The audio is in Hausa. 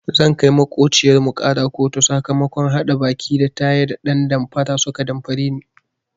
Zan kai maƙociyar mu ƙara kotu sakamakon haɗa baki da tayi da ɗan damfara suka damfare ni.